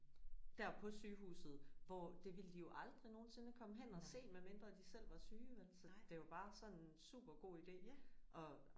Der på sygehuset hvor det ville de jo aldrig nogensinde komme hen og se medmindre de selv var syge vel så det var bare sådan en super god ide og